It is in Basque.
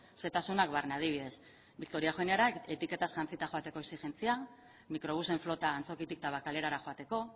xehetasunak barne adibidez victoria eugeniara etiketaz jantzita joateko exijentzia mikrobusen flota antzokitik tabakalerara joateko